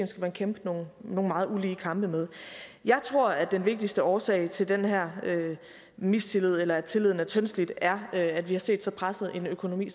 skal man kæmpe nogle meget ulige kampe med jeg tror at den vigtigste årsag til den her mistillid eller at tilliden er tyndslidt er at vi har set så presset en økonomi i